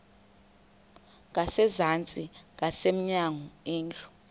ngasezantsi ngasemnyango indlu